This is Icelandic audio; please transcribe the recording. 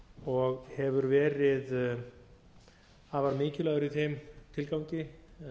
og hefur verið afar mikilvægur í þeim tilgangi